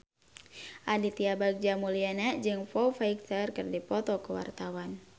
Aditya Bagja Mulyana jeung Foo Fighter keur dipoto ku wartawan